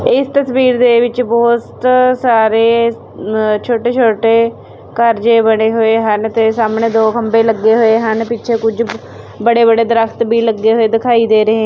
ਇਸ ਤਸਵੀਰ ਦੇ ਵਿੱਚ ਬਹੁਤ ਸਾਰੇ ਅ ਛੋਟੇ ਛੋਟੇ ਘਰ ਜਿਹੇ ਬਣੇ ਹੋਏ ਹਨ ਤੇ ਸਾਹਮਣੇ ਦੋ ਖੰਭੇ ਲੱਗੇ ਹੋਏ ਹਨ ਪਿੱਛੇ ਕੁਝ ਬੜੇ ਬੜੇ ਦਰਖਤ ਭੀ ਲੱਗੇ ਹੋਏ ਦਿਖਾਈ ਦੇ ਰਹੇਂ--